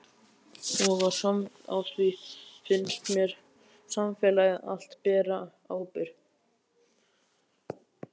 Og á því fannst mér samfélagið allt bera ábyrgð.